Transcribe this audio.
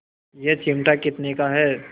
यह चिमटा कितने का है